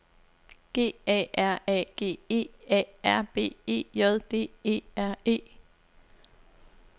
G A R A G E A R B E J D E R E